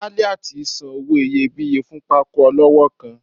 Aliat san owo iyébiye fún pàtàkó olọwọ kán